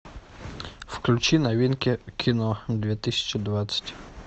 включи новинки кино две тысячи двадцать